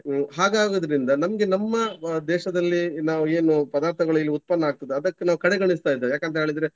ಹಾಗಾಗುವುದ್ರಿಂದ ನಮ್ಗೆ ನಮ್ಮ ಅಹ್ ದೇಶದಲ್ಲಿ ನಾವು ಏನು ಪದಾರ್ಥಗಳು ಇಲ್ಲಿ ಉತ್ಪನ್ನ ಆಗ್ತದೆ ಅದಕ್ಕೆ ನಾವು ಕಡೆಗಣಿಸ್ತಾ ಇದ್ದೇವೆ. ಯಾಕಂತ ಹೇಳಿದ್ರೆ.